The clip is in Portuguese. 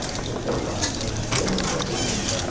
Eu estou formado, tenho um diploma, não estou aprendendo nada.